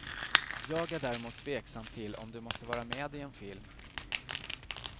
Jag är däremot tveksam till om du måste vara med i en film.